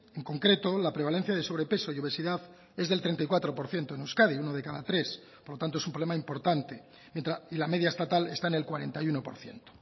en concreto la prevalencia de sobrepeso y obesidad es del treinta y cuatro por ciento en euskadi uno de cada tres por lo tanto es un problema importante y la media estatal está en el cuarenta y uno por ciento